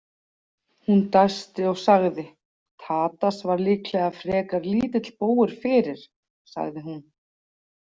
Hún dæsti og sagði: Tadas var líklega frekar lítill bógur fyrir, sagði hún.